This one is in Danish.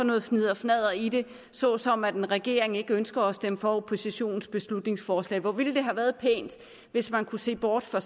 noget fnidderfnadder i det såsom at en regering ikke ønsker at stemme for oppositionens beslutningsforslag hvor ville det have været pænt hvis man kunne se bort fra